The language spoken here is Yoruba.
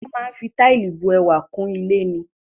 Wọ́n máa ń fi táìlì bu ẹwà kún ilé ni.